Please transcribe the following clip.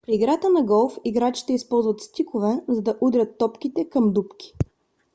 при играта на голф играчите използват стикове за да удрят топките към дупки